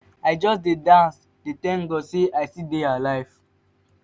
i just dey dance dey thank god say i still dey alive